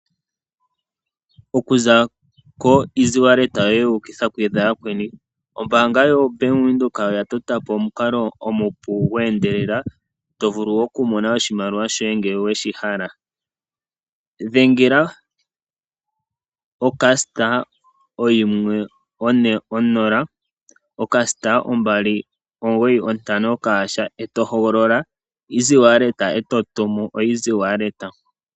Oku za ko easy wallet yoye wuukitha kuyakweni, ombaanga yobank Windhoek oya to ta po omukalo omupe gweendelela to vulu oku mona oshimaliwa shoye ngele weshi hala. Dhengela o* 140*295# , e to hogolola easy wallet , eto tumu oeasy wallet.